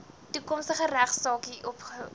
toekomstige regsaksie openbaar